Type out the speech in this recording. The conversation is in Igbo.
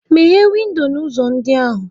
Meghee windo na ụzọ ndị ahụ!